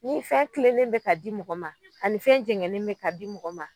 Ni fɛn kilelen bɛ ka di mɔgɔ ma ani fɛn jɛgɛnnen bɛ ka di mɔgɔ ma.